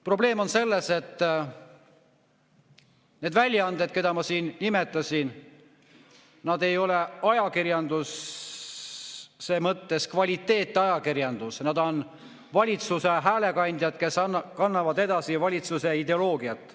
Probleem on selles, et need väljaanded, keda ma siin nimetasin, ei ole kvaliteetajakirjandus, vaid nad on valitsuse häälekandjad, kes kannavad edasi valitsuse ideoloogiat.